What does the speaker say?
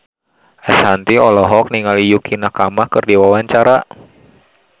Ashanti olohok ningali Yukie Nakama keur diwawancara